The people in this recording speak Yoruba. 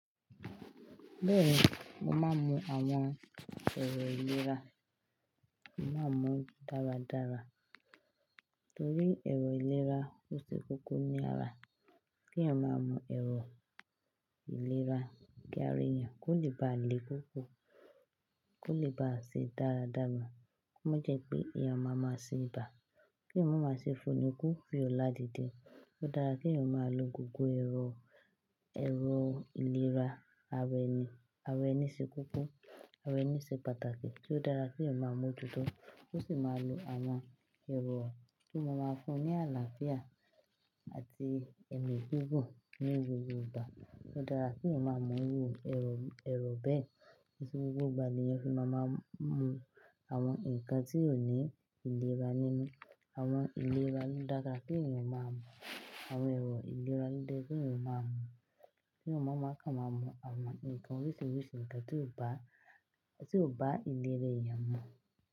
Bẹ́ẹ̀ni, mo máa mu àwọn ẹ̀rọ ìlera, mo máa mu dáradára torí ẹ̀rọ ìlera ó ṣe koko ní ara. Kí èèyàn máa mọ ẹ̀rọ ìlera kí ara eyan, kó lè bá le koko, kó lè bá ṣe dáradára. Ko mo jẹ́ pé èèyàn máa máa ṣe ibà, kí èèyàn máa máa ṣe fónikú, fíòlà dídì. Ó dára kí èèyàn máa lo gbogbo ẹ̀rọ, ẹ̀rọ ìlera ara ẹni. Ara ẹni ṣe koko ara ẹni ṣe pàtàkì, ó dára kí èèyàn máa mọjuto Ko sì máa lo àwọn ẹ̀rọ tó máa máa fún un ní àlàáfíà àti emi gigun ní gbogbo ìgbà. Ó dára kí èèyàn máa mu irú ẹ̀rọ, ẹ̀rọ bẹ́ẹ̀. Kiise gbogbo ìgbà ni èèyàn fi máa máa mu àwọn nǹkan tí ó ní ìlera nínú. Àwọn ìlera ń dára kí èèyàn máa mọ̀. Àwọn ẹ̀rọ ìlera lo dẹ́ ye kí èèyàn máa mu. Kí èèyàn máa máa kàn máa mu àwọn nǹkan oríṣiiríṣii nǹkan tí ó bá, tí ó bá ìlera èèyàn mu.